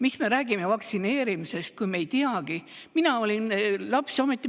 Mis me räägime vaktsineerimisest, kui me ei teagi,?